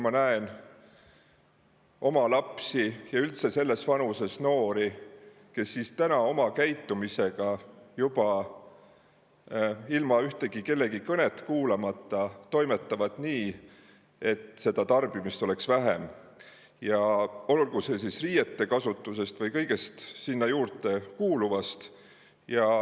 Ma näen oma lapsi ja üldse selles vanuses noori juba ühtegi kõnet kuulamata toimetamas nii, et tarbimist oleks vähem, olgu siis riiete kasutuses või kõiges muus sinna juurde kuuluvas.